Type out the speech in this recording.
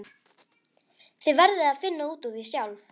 Þið verðið að finna út úr því sjálf.